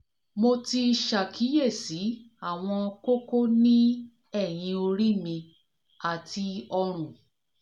mo ti ṣàkíyèsí àwọn kókó ní ẹ̀yìn orí mi àti ọrùn